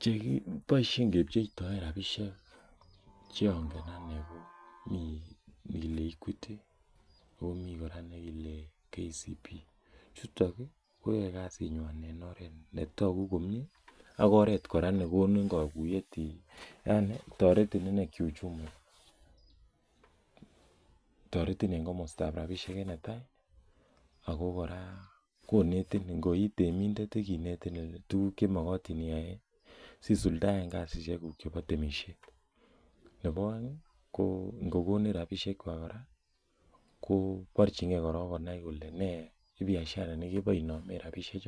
Che kibaisheen kecheptoi rapisheek che angen anei ko Mii nekile equity komii kora nekile [Kenya commercial bank] chutoon koyae kasiit nywaany en oret ne taguu komyei yani taretiin inei kiuchumi taretiin eng komostaa rapisheek ako koi ii temindet ko taretiin en oratinweek che magatiin iyai si suldaen kasisiek guug chebo temisiet barjingei Konai kole nee biashara ne yachei inai ibaisheen rapisheek